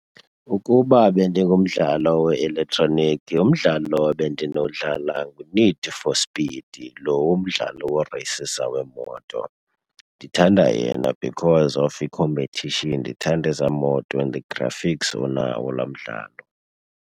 Ukuba bendingumdlalo we-elektroniki, umdlalo ebendinowudlala nguNeed for Speed, lo umdlalo woreyisisa weemoto. Ndithanda yena because of i-competition, ndithanda ezaa moto and the graphics onawo laa mdlalo.